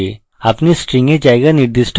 আপনি string এ জায়গা নির্দিষ্ট করতে পারেন